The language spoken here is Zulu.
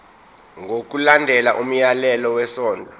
ngokulandela umyalelo wesondlo